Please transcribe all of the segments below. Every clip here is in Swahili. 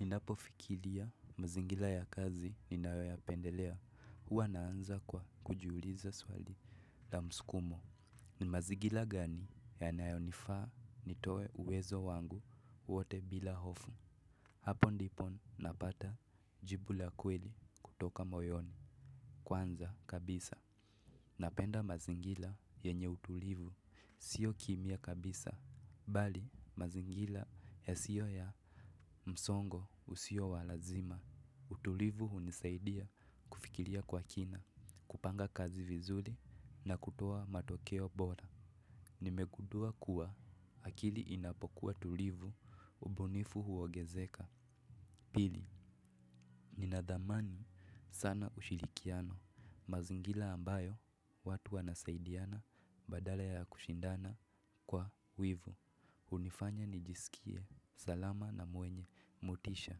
Ninapo fikiria mazingira ya kazi ninayo yapendelea, huwa naanza kwa kujiuliza swali la msukumo. Ni mazingira gani yanayonifaa nitoe uwezo wangu wote bila hofu. Hapo ndipo napata jibu la kweli kutoka moyoni Kwanza kabisa. Napenda mazingira yenye utulivu sio kimya kabisa. Bali mazingira yasiyo ya msongo usiyo wa lazima. Utulivu hunisaidia kufikiria kwa kina, kupanga kazi vizuri na kutoa matokeo bora. Nimegundua kuwa akili inapokuwa tulivu ubunifu huongezeka. Pili, ninadhamani sana ushirikiano mazingira ambayo watu wanasaidiana badala ya kushindana kwa wivu. Hunifanya nijisikie salama na mwenye motisha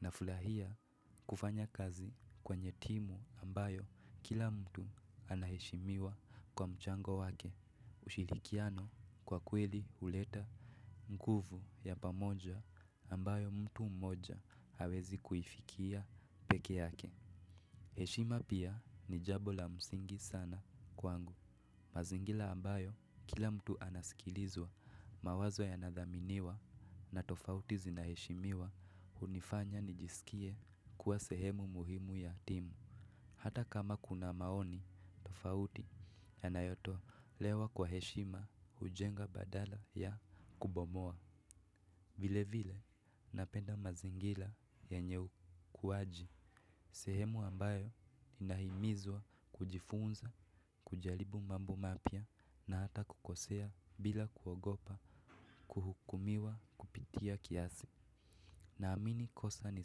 Nafurahia kufanya kazi kwenye timu ambayo kila mtu anaheshimiwa kwa mchango wake ushirikiano kwa kweli huleta nguvu ya pamoja ambayo mtu mmoja hawezi kuifikia peke yake. Heshima pia ni jambo la msingi sana kwangu. Mazingira ambayo kila mtu anasikilizwa mawazo yanadhaminiwa na tofauti zinaheshimiwa hunifanya nijisikie kuwa sehemu muhimu ya timu hata kama kuna maoni tofauti yanayotolewa kwa heshima hujenga badala ya kubomoa. Vile vile napenda mazingira yenye ukuaji. Sehemu ambayo inahimizwa kujifunza, kujaribu mambo mapya na hata kukosea bila kuogopa kuhukumiwa kupitia kiasi. Naamini kosa ni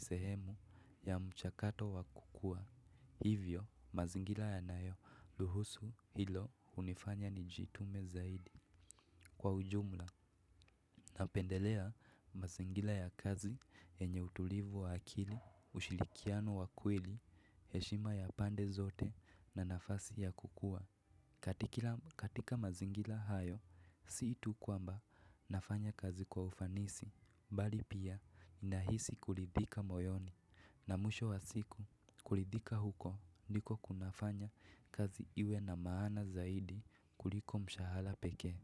sehemu ya mchakato wa kukua hivyo mazingira yanayoruhusu hilo hunifanya nijitume zaidi kwa ujumla napendelea mazingira ya kazi yenye utulivu wa akili, ushirikiano wa kweli, heshima ya pande zote na nafasi ya kukua katika mazingira hayo, si tu kwamba nafanya kazi kwa ufanisi, bali pia ninahisi kuridhika moyoni na mwisho wa siku kuridhika huko ndiko kunafanya kazi iwe na maana zaidi kuliko mshahara pekee.